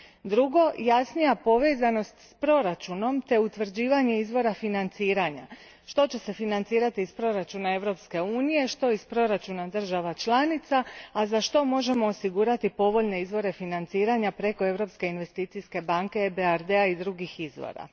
Drugo, jasnija povezanost s proračunom te utvrđivanje izvora financiranja, što će se financirati iz proračuna Europske unije, što iz proračuna država čalnica, a zašto možemo osigurati povoljne izvore financiranja preko Europske investicijske banke, EBRD a i drugih izvora.